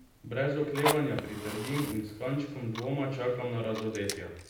Brez oklevanja pritrdim in s kančkom dvoma čakam na razodetja.